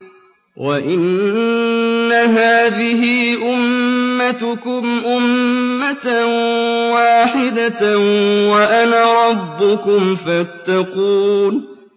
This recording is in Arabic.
وَإِنَّ هَٰذِهِ أُمَّتُكُمْ أُمَّةً وَاحِدَةً وَأَنَا رَبُّكُمْ فَاتَّقُونِ